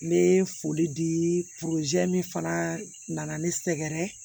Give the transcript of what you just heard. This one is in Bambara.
N bɛ foli di min fana nana ne sɛgɛrɛ